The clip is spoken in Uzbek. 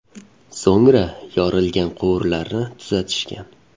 So‘ngra yorilgan quvurlarni tuzatishgan.